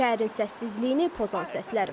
Şəhərin səssizliyini pozan səslər.